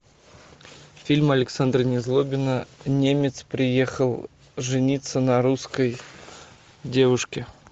фильм александра незлобина немец приехал жениться на русской девушке